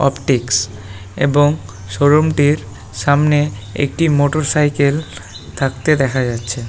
Optics এবং showroom -টির সামনে একটি মোটরসাইকেল থাকতে দেখা যাচ্ছে।